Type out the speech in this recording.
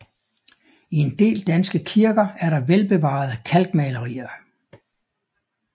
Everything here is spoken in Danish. I en del danske kirker er der velbevarede kalkmalerier